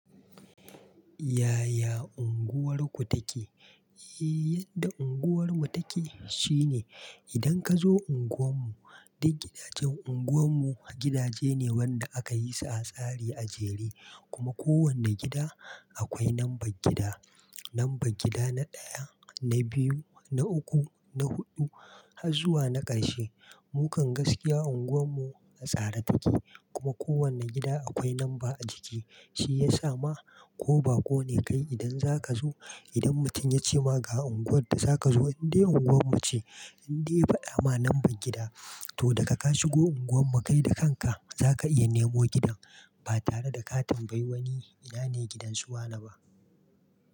Yaya unguwarku take? Eee, yadda unguwarmu take shine idan kazo unguwan mu duk gidajen unguwan mu, gidaje ne wanda aka yi su a tsare a jere kuma ko wane gida akwai lambar gida. Lambar gida na ɗaya, na biyu, na uku, na huɗu har zuwa na ƙarshe. Mukan gaskiya unguwan mu a tsare take, kuma ko wane gida akwai lamba a jiki shi yasa ma ko ba ko ne kai idan zaka zo idan mutum ya ce ma ga unguwar da zaka zo indai unguwar mu ce indai fa dama lambar gida toh da ka ka shi go unguwan mu kai da kanka zaka iya nemo gidan ba tare da ka tambayi wani ina ne gidan su wane ba.